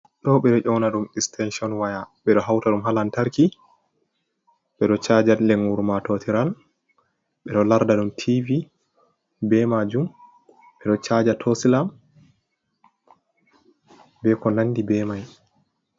Ɗo ɓeɗo ƴona ɗum istention waya, ɓe ɗo hauta ɗum ha laantarki ɓeɗo chaja lengur matotiran, ɓeɗo larda ɗum tivi be majum, ɓeɗo chaja tosilam, be ko nandi be mai.